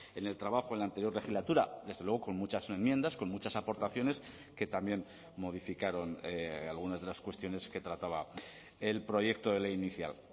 en el trabajo en la anterior legislatura desde luego con muchas enmiendas con muchas aportaciones que también modificaron algunas de las cuestiones que trataba el proyecto de ley inicial